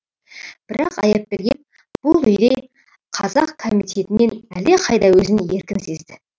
бірақ аяпберген бұл үйде қазақ комитетінен әлдеқайда өзін еркін сезді